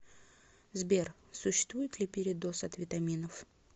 сбер существует ли передоз от витаминов